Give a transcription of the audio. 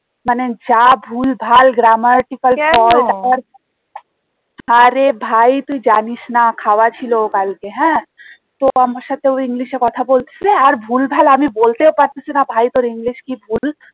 মানে যা ভুলভাল grammatical fault আরে ভাই তুই জানিস না খাওয়া ছিল ও কালকে হ্যাঁ তো আমার সাথে ও english এ কথা বলছে আর ভুলভাল আমি বলতেও পারতেছিনা ভাই তোর english কি ভুল